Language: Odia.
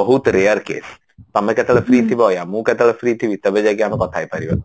ବହୁତ rare case ତମେ କେତେବେଳେ free ଥିବ ୟା ମୁଁ କେତେବେଳେ free ଥିବି ତେବେ ଯାଇକି ଆମେ କଥା ହେଇପାରିବା